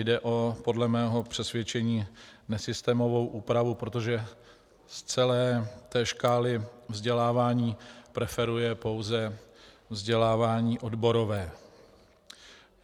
Jde podle mého přesvědčení o nesystémovou úpravu, protože z celé té škály vzdělávání preferuje pouze vzdělávání odborové.